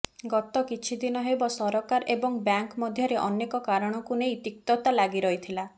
ଗତକିଛି ଦିନ ହେବ ସରକାର ଏବଂ ବ୍ୟାଙ୍କ ମଧ୍ୟରେ ଅନେକ କାରଣକୁ ନେଇ ତିକ୍ତତା ଲାଗିରହିଥିଲା